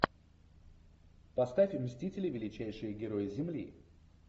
поставь мстители величайшие герои земли